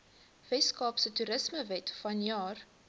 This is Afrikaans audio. weskaapse toerismewet vanjaar